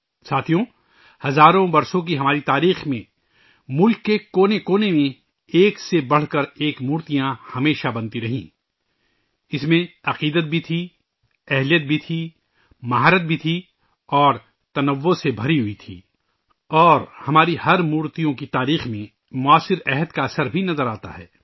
ساتھیو ، ہماری ہزاروں سال کی تاریخ میں ملک کے کونے کونے میں ایک سے بڑھ ایک مورتیاں ہمیشہ بنتی رہی ہیں، ان میں عقیدت بھی تھی، طاقت بھی تھی، ہنر بھی تھا اور تنوع سے بھرا ہوا تھا اور ہماری مورتیوں کی تاریخ میں ، اُس وقت کا اثر بھی نظر آتا ہے